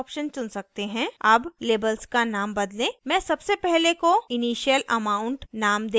मैं सबसे पहले को initial amount नाम दे रही हूँ